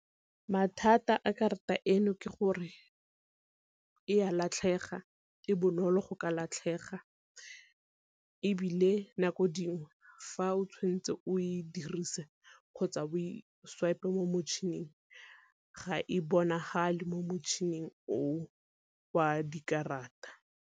Mathata a karata eno ke gore e a latlhega, e bonolo go ka latlhega, ebile nako dingwe fa o tshwanetse o e dirise kgotsa o e swipe mo motšhining ga e bonagale mo motšhining o o wa dikarata.